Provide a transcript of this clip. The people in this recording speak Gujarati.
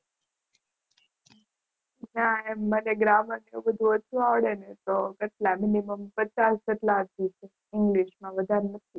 ના એમ મને ગ્રામર એટલું ઓછું આવડે ને તો કેટલા મીનીમમ પચાસ જેટલા આવ્યા છે વધારે નથી.